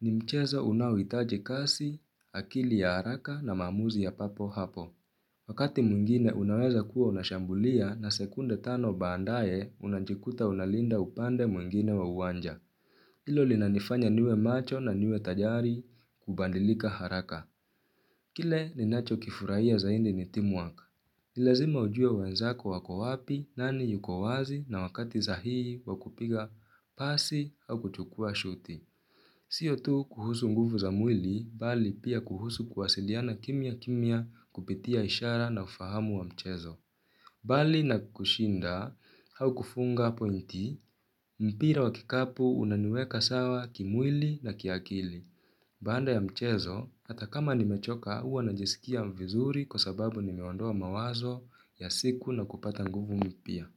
ni mchezo unao hitaji kasi, akili ya haraka na maamuzi ya papo hapo. Wakati mwingine unaweza kuwa unashambulia na sekunde tano baadaye unajikuta unalinda upande mwingine wa uwanja. Hilo linanifanya niwe macho na niwe tayari kubadilika haraka. Kile ninacho kifurahia zaidi ni "team work". Ni lazima ujue wenzako wako wapi ni nani yuko wazi na wakati sahihi wakupiga pasi au kuchukua shuti. Sio tu kuhusu nguvu za mwili bali pia kuhusu kuwasiliana kimya kimya kupitia ishara na ufahamu wa mchezo. Bali na kushinda au kufunga pointi mpira wa kikapu unaniweka sawa kimwili na kiakili. Baada ya mchezo, hata kama nimechoka huwa najisikia vizuri kwasababu nimeondoa mawazo ya siku na kupata nguvu mpya.